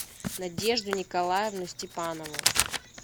надежду николаевну степанову